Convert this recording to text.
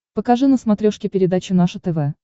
покажи на смотрешке передачу наше тв